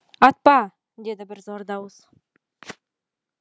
атпа деді бір зор дауыс